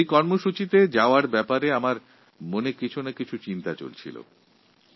যেহেতু ওই অনুষ্ঠানটিতে আমার উপস্থিত থাকার কথা ছিল তাই আমার মনে এই বিষয়ে কিছু চিন্তভাবনা কাজ করছিল